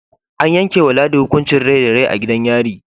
An yankewa ladi hukuncin Rai da Rai a gidan yari